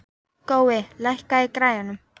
Gói, lækkaðu í græjunum.